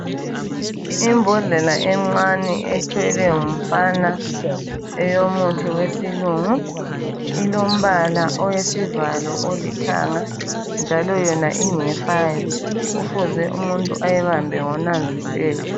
Imbodlela encane ethwele ngumfana eyomuthi wesilungu ilombala owesivalo olithanga njalo yona ingefayo kufuze umuntu ayibambe ngonanzelelo